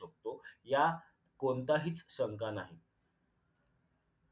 तो यात कोणताही शंका नाही